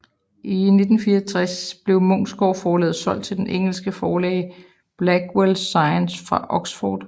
I 1964 blev Munksgaards Forlag solgt til det engelske forlag Blackwell Science fra Oxford